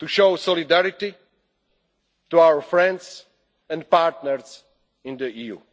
to show solidarity to our friends and partners